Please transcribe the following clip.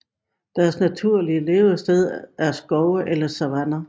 Deres naturlige levested er skove eller savanner